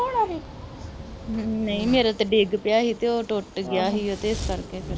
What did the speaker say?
ਨਹੀਂ ਮੇਰਾ ਤੇ ਡਿੱਗ ਪਿਆ ਹੀ ਤੇ ਉਹ ਟੁੱਟ ਗਿਆ ਹੀ ਓ ਤੇ ਐੱਸ ਕਰਕੇ ਫਿਰ